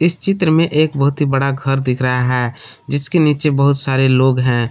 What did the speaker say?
इस चित्र में एक बहुत ही बड़ा घर दिख रहा है जिसके नीचे बहुत सारे लोग हैं।